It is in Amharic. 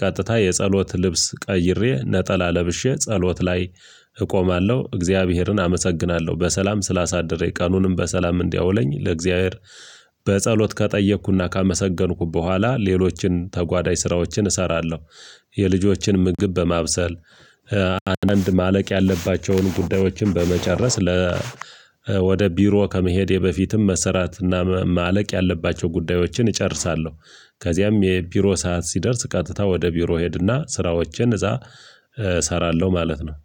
ቀጥታ የጸሎት ልብስ ቀይሬ ነጠላ ለብሼ ጸሎት ላይ እቆማለሁ እግዚአብሔርን አመሰግናለሁ በሰላም ስላሳደረኝ ቀኑንም በሰላም እንዲያውለኝ ለእግዚአብሔር በጸሎት ከጠየኩና ካመሰገንኩ በኋላ ሌሎችን ተጓዳኝ ስራዎችን እሰራለሁ። የልጆችን ምግብ በማብሰል አንዳንድ ማለቅ ያለባቸውን ጉዳዮችን በመጨረስ ለ ወደ ቢሮ ከመሄዴ በፊትም መሰራትና ማለቅ ያለባቸው ጉዳዮችን እጨርሳለሁ። ከዚያም የቢሮ ሰዓት ሲደርስ ቀጥታ ወደ ቢሮ እሄድና ስራዎችን እዛ እሰራለሁ ማለት ነው